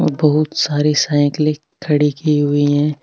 और बहुत सारी साइकलें खड़ी की हुई है।